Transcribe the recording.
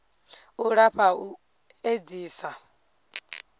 u lafha ha u edzisa